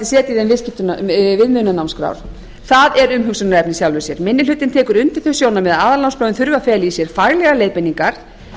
setji þeim viðmiðunarnámskrár er umhugsunarefni í sjálfu sér minni hlutinn tekur undir þau sjónarmið að aðalnámskráin þurfi að fela í sér faglegar leiðbeiningar